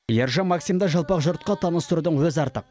ержан максимді жалпақ жұртқа таныстырудың өзі артық